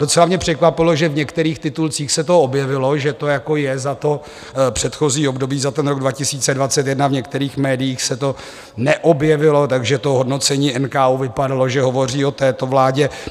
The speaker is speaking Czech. Docela mě překvapilo, že v některých titulcích se to objevilo, že to jako je za to předchozí období, za ten rok 2021, v některých médiích se to neobjevilo, takže to hodnocení NKÚ vypadalo, že hovoří o této vládě.